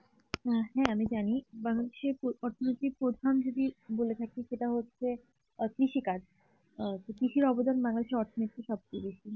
আহ হ্যাঁ আমি জানি সে অর্থনীতির প্রধান যদি বলে থাকে সেটা হচ্ছে আহ কৃষিকাজ তো কৃষি অবদান মনে হচ্ছে অর্থনীতি সবচেয়ে বেশি